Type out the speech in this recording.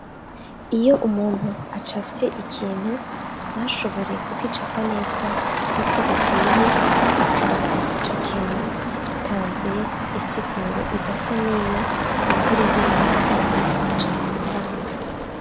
Iyo umuntu acafye ikintu ntashobore kugicapa neza nk'uko bikwiye, asanga ico kintu gitanze insiguro idasa n'iyo kumbure wewe yari yifuje gutanga.